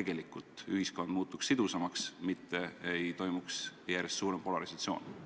et ühiskond muutuks sidusamaks, mitte ei toimuks järjest suuremat polarisatsiooni?